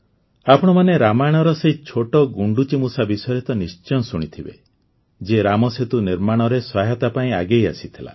ଆପଣମାନେ ରାମାୟଣର ସେହି ଛୋଟ ଗୁଣ୍ଡୁଚିମୂଷା ବିଷୟରେ ତ ନିଶ୍ଚୟ ଶୁଣିଥିବେ ଯିଏ ରାମସେତୁ ନିର୍ମାଣରେ ସହାୟତା ପାଇଁ ଆଗେଇ ଆସିଥିଲା